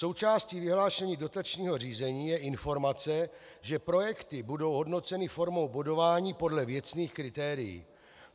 Součástí vyhlášení dotačního řízení je informace, že projekty budou hodnoceny formou bodování podle věcných kritérií.